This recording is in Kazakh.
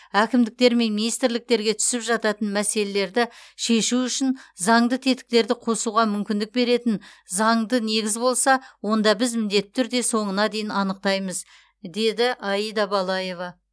әкімдіктер мен министрліктерге түсіп жататын мәселелерді шешу үшін заңды тетіктерді қосуға мүмкіндік беретін заңды негіз болса онда біз міндетті түрде соңына дейін анықтаймыз деді аида балаева